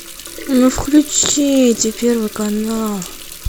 ну включите первый канал